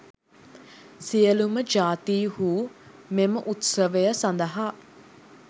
සියලූම ජාතිහු මෙම උත්සව සඳහා